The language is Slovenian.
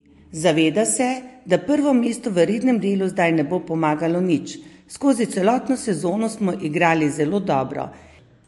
Zaveda se, da prvo mesto v rednem delu zdaj ne bo pomagalo nič: "Skozi celotno sezono smo igrali zelo dobro.